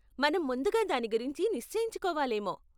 మనం ముందుగా దాని గురించి నిశ్చయించుకోవాలేమో.